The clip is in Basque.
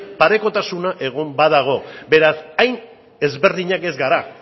parekotasuna egon badago beraz hain ezberdinak ez gara